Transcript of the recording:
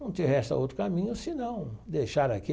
Não te resta outro caminho se não deixar aquilo.